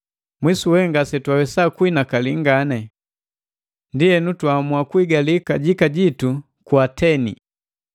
Mwisu we ngasetwawesa kuinakali ngani. Ndienu twaamua kuigali kajika jitu ku Ateni.